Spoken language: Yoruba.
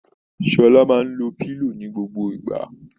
Sọla máa ń lo pillow ní gbogbo ìgbà